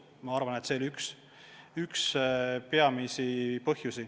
Ma arvan, et see oli üks peamisi põhjusi.